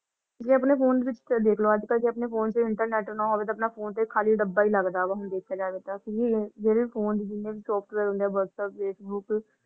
ਜੇ ਅਪਨੇ ਫੋਨ ਵਿਚ ਦੇਖੋ ਅੱਜ-ਕਲ ਜੇ ਅਪਨੇ ਫੋਨ ਵਿਚ internet ਨਾ ਹੋਵੇ ਤਾ ਆਪਣਾ ਫੋਨ ਤੇ ਖਾਲੀ ਡੱਬਾ ਹੀ ਲੱਗਦਾ ਵਾ ਹੁਣ ਦੇਖ ਜਾਵੇ ਤਾ ਜੇੜੇ ਫੋਨ ਤੇ ਜਿੰਨੇ ਵੀ software ਹੁੰਦੇ Whatsapp, Facebook